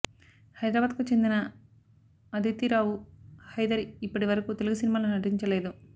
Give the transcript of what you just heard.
హైదరాబాద్ కు చెందిన అదితి రావు హైదరి ఇప్పటి వరకు తెలుగు సినిమాల్లో నటించలేదు